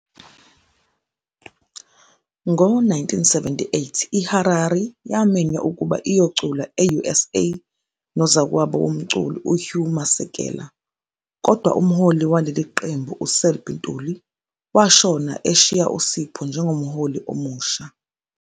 Ngo-1978, iHarari yamenywa ukuba iyocula e-USA nozakwabo womculi uHugh Masekela, kodwa umholi waleli qembu uSelby Ntuli washona eshiya uSipho njengomholi omusha.